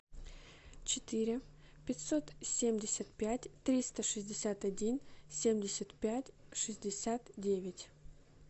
четыре пятьсот семьдесят пять триста шестьдесят один семьдесят пять шестьдесят девять